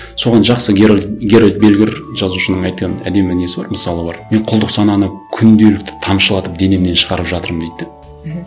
соған жақсы герольд бергер жазушының айтқан әдемі несі бар мысалы бар мен құлдық сананы күнделікті тамшылатып денемнен шығарып жатырмын дейді де мхм